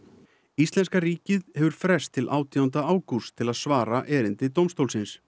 íslenska ríkið hefur frest til átjánda ágúst til að svara erindi dómstólsins